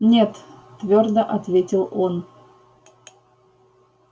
нет твёрдо ответил он